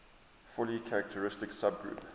fully characteristic subgroup